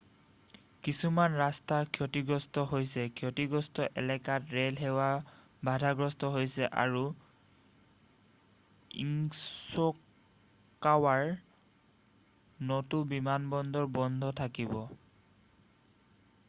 কিছুমান ৰাস্তা ক্ষতিগ্ৰস্ত হৈছে ক্ষতিগ্ৰস্ত এলেকাত ৰেলসেৱা বাধাগ্ৰস্ত হৈছে আৰু ইশ্বিকাৱাৰ নটো বিমানবন্দৰ বন্ধ থাকিব